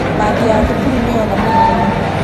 mbathi ya thukuru nĩyona mũtino